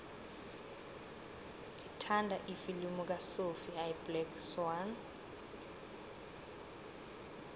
ngithanda ifilimu kasophie iblack swann